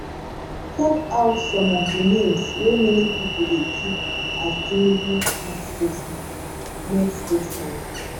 check out some of di names wey many pipo dey tip as tinubu next spokesman next spokesman